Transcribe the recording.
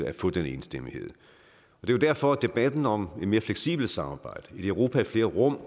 at få den enstemmighed det er derfor debatten om et mere fleksibelt samarbejde et europa i flere rum